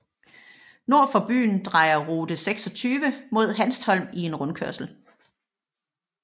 Nord for byen drejer rute 26 mod Hanstholm i en rundkørsel